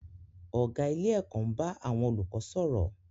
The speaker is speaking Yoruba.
Ọ̀gá ilé-ẹ̀kọ́ ń bá àwọn olùkọ́ sọ̀rọ̀.